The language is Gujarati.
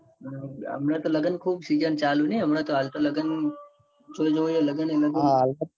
હમણાં તો લગન ખુ season ચાલુ નાઈ હમણાં તો હાલ તો લગન જો જોવો ત્યો લગન એ લગ